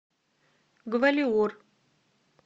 гвалиор